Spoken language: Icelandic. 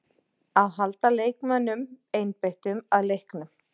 Að halda leikmönnunum einbeittum að leiknum.